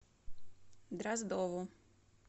дроздову